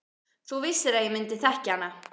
Þú vissir að ég myndi þekkja hana.